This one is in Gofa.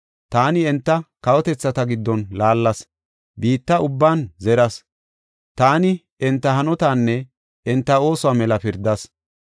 Taani enta kawotethata giddon laallas; biitta ubban zeras. Taani enta hanotaanne enta oosuwa mela pirdas.